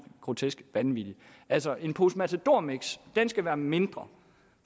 grotesk vanvittigt altså en pose matadormix skal være mindre